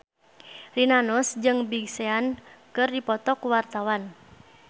Rina Nose jeung Big Sean keur dipoto ku wartawan